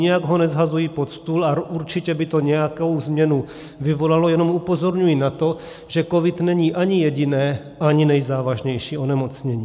Nijak ho neshazuji pod stůl a určitě by to nějakou změnu vyvolalo, jenom upozorňuji na to, že covid není ani jediné a ani nejzávažnější onemocnění.